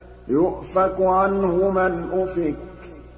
يُؤْفَكُ عَنْهُ مَنْ أُفِكَ